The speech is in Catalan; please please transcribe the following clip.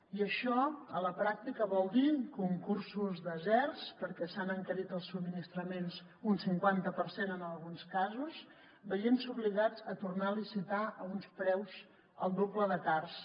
i això a la pràctica vol dir concursos deserts perquè s’han encarit els subministraments un cinquanta per cent en alguns casos veient se obligats a tornar a licitar a uns preus el doble de cars